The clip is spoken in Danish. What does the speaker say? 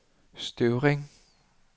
Støvring